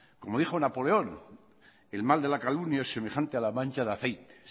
como dijo napoleón el mal de la calumnia es semejante a la mancha de aceite